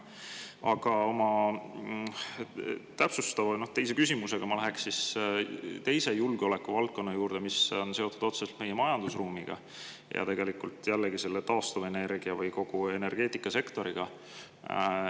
Aga oma täpsustava küsimusega ma läheks teise julgeolekuvaldkonna juurde, mis on seotud otseselt meie majandusruumiga ja jällegi taastuvenergia või kogu energeetikasektoriga.